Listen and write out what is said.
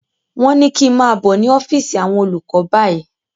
Wọ́n ní kí n máà bọ̀ ní ọ́físì àwọn olùkọ báyìí!